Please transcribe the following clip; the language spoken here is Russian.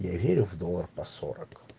я верю в доллар по сорок